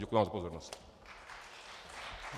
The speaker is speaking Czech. Děkuji vám za pozornost.